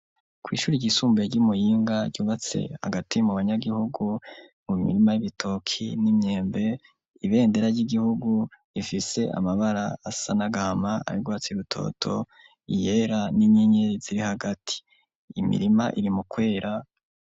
Kw'ishure ryisumbuye ry'Imuyinga ryubatse hagati mu banyagihugu, mu mirima y'ibitoke n'imyembe, ibendera ry'igihugu rifise amabara asa n'agahama, ay'urwatsi rutoto, iyera n'inyenyeri ziri hagati. Imirima iri mukwera.